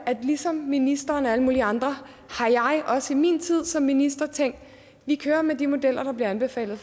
at ligesom ministeren og alle mulige andre har jeg også i min tid som minister tænkt at vi kører med de modeller der bliver anbefalet